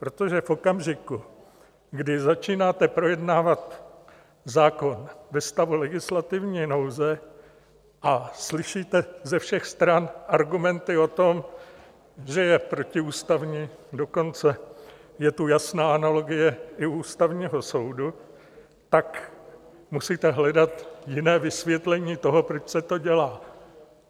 Protože v okamžiku, kdy začínáte projednávat zákon ve stavu legislativní nouze a slyšíte ze všech stran argumenty o tom, že je protiústavní, dokonce je tu jasná analogie i Ústavního soudu, tak musíte hledat jiné vysvětlení toho, proč se to dělá.